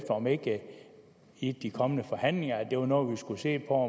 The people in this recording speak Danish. om ikke det i de kommende forhandlinger var noget vi skulle se på